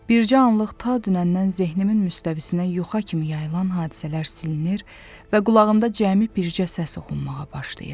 Bircə anlıq ta dünəndən zehnimin müstəvisinə yuxa kimi yayılan hadisələr silinir və qulağımda cəmi bircə səs oxunmağa başlayır: